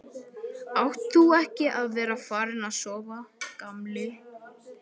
Átt þú ekki að vera farinn að sofa, gamli?